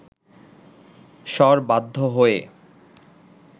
শর বাধ্য হয়ে